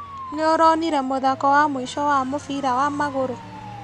Nĩũronire mũthako wa mũico wa mũbira wa magũrũ?